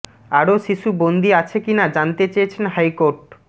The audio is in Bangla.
আরো শিশু বন্দি আছে কি না জানতে চেয়েছেন হাইকোর্ট